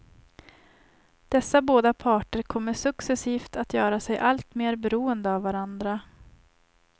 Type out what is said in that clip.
Dessa både parter kommer successivt att göra sig alltmer beroende av varandra.